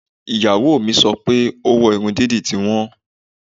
Ìyàwó mi sọ pé owó irun dídì ti wọ́n